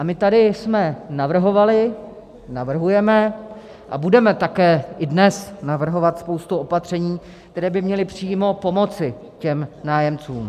A my tady jsme navrhovali, navrhujeme a budeme také i dnes navrhovat spoustu opatření, která by měla přímo pomoci těm nájemcům.